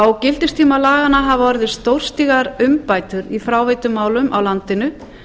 á gildistíma laganna hafa orðið stórstígar umbætur í fráveitumálum á landinu